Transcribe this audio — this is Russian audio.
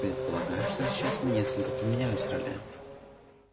предполагаю что сейчас мы несколько поменялись ролями